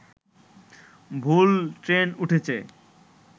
ভুল ট্রেন উঠেছে